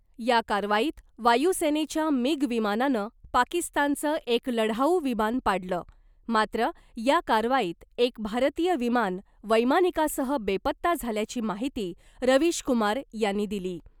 या कारवाईत वायूसेनेच्या मिग विमानानं पाकिस्तानचं एक लढाऊ विमान पाडलं , मात्र या कारवाईत एक भारतीय विमान वैमानिकासह बेपत्ता झाल्याची माहिती रवीशकुमार यांनी दिली .